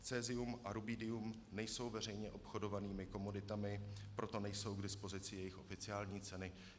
Cesium a rubidium nejsou veřejně obchodovanými komoditami, proto nejsou k dispozici jejich oficiální ceny."